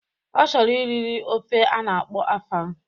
Ọ chọrọ liri ofe ana akpo afang